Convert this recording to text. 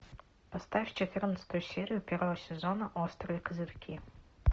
поставь четырнадцатую серию первого сезона острые козырьки